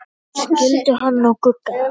Skildu hann og Gugga?